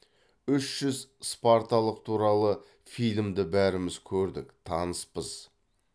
үш жүз спарталық туралы фильмді бәріміз көрдік таныспыз